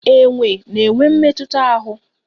Enwe na-enwe mmetụta ahụ.